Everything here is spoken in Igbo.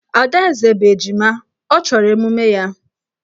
Adaeze bụ ejima, ọ chọrọ emume ya.